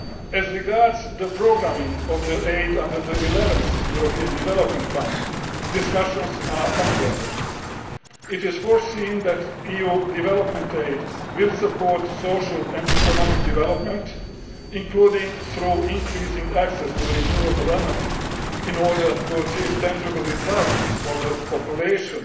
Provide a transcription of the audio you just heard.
in Eritrea. As regards the programming of the aid under the 11th European Development Fund, discussions are ongoing. It is proposed that EU development aid will support social and economic development, including through increasing access to renewable energy, in order to achieve tangible results for